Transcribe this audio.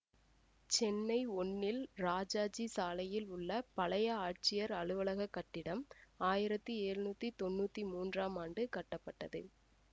சென்னை ஒன்னில் ராஜாஜி சாலையில் உள்ள பழைய ஆட்சியர் அலுவலக கட்டிடம் ஆயிரத்தி எழுநூத்தி தொன்னூத்தி மூன்றாம் ஆண்டு கட்டப்பட்டது